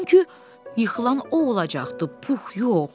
Çünki yıxılan o olacaqdı, Pux yox.